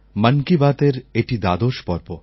মন কা বাতএর এটি দ্বাদশ পর্ব